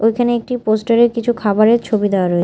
ওইখানে একটি পোস্টারে -এ কিছু খাবারের ছবি দেওয়া রয়ে--